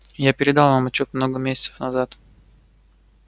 я передал вам отчёт много месяцев назад